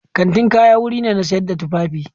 Kantin kaya wuri ne na sayar da tufafi.